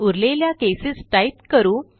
उरलेल्या cases type करू